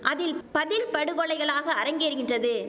அதில் பதில் படுகொலைகளாக அரங்கேறுகின்றது